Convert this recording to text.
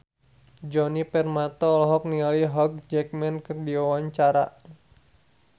Djoni Permato olohok ningali Hugh Jackman keur diwawancara